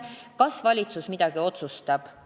Kas valitsus midagi otsustab?